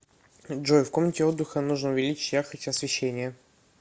джой в комнате отдыха нужно увеличить яркость освещения